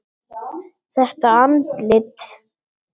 Þetta andlit.